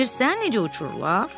Bilirsən necə uçurlar?